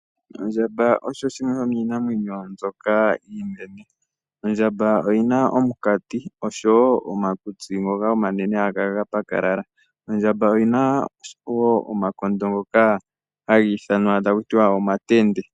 Ondjamba osho shimwe shoshinamwenyo mbyoka iinene. Ondjamba oyina omukati oshowo omakutsi ngoka omanene haga kala ga pakalala . Ondjamba oyina woo omakondo ngoka hagi ithanwa takutiwa omatende.